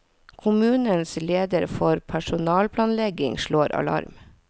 Kommunens leder for personalplanlegging slår alarm.